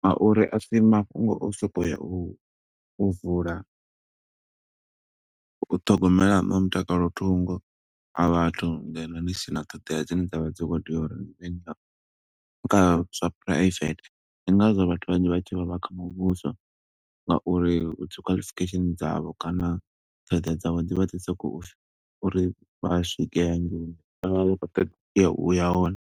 nga uri asi mafhungo o soko ya u vula, u ṱhogomela no mutakalo thungo, a vhathu ngeno ni sina ṱhoḓea dzine dza vha dzi khou tea uri kha zwa phuraivethe. Ndi nga zwo vhathu vhanzhi vha tshi vha, vha kha muvhuso nga uri u dzi qualification dzavho kana ṱhoḓea dza vho, dzi vha dzi so kho uri fi, uri vha swike hangeini vha vha vha khou ṱoḓa uya hone.